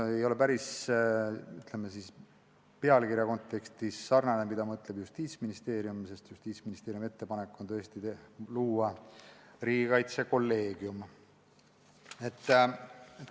See ei ole päris sarnane sellega, mida peab silmas Justiitsministeerium, kelle ettepanek on luua riigikaitsekolleegium.